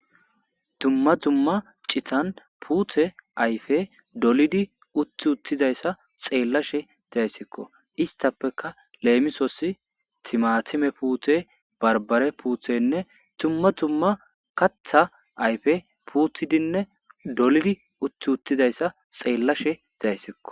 Tumma dumma cithan puuthe ayfe dolidi utti uttidayssa xeellashe zayssikko istapeka leemisosi timatime puute barbare puuthenne tumma tumma katha ayfe puuthidinne dolidi utti uttidayssa xeellashe zayssikko.